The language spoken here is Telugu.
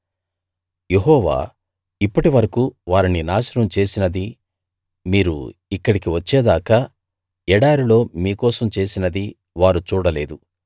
యెహోవా ఇప్పటి వరకూ వారిని నాశనం చేసినదీ మీరు ఇక్కడికి వచ్చేదాకా ఎడారిలో మీకోసం చేసినదీ వారు చూడలేదు